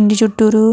ఇంటి చుట్టూరు --